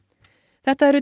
þetta eru